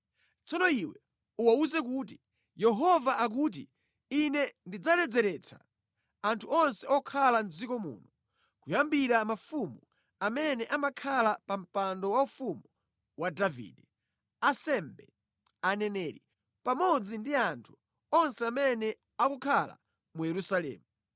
Tsono iwe uwawuze kuti, Yehova akuti ‘Ine ndidzaledzeretsa anthu onse okhala mʼdziko muno, kuyambira mafumu amene amakhala pa mpando waufumu wa Davide, ansembe, aneneri, pamodzi ndi anthu onse amene akukhala mu Yerusalemu.